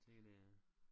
Tænker det er